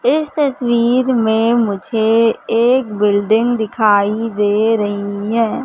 इस तस्वीर में मुझे एक बिल्डिंग दिखाई दे रही हैं।